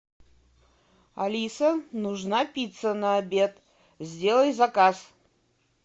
алиса нужна пицца на обед сделай заказ